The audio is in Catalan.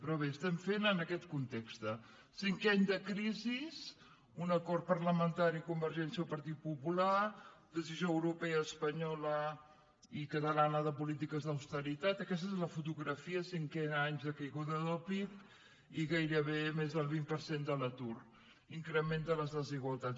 però bé l’estem fent en aquest context cinquè any de crisi un acord parlamentari convergència partit popular decisió europea espanyola i catalana de polítiques d’austeritat aquesta és la fotografia cinquè any de caiguda del pib i gairebé més del vint per cent de l’atur increment de les desigualtats